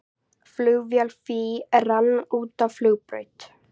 Flugvél FÍ rann út af flugbraut